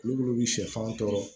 Olu bi sɛfanw tɔɔrɔ